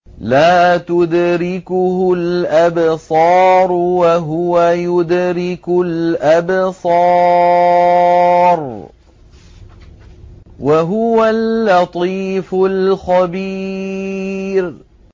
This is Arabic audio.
لَّا تُدْرِكُهُ الْأَبْصَارُ وَهُوَ يُدْرِكُ الْأَبْصَارَ ۖ وَهُوَ اللَّطِيفُ الْخَبِيرُ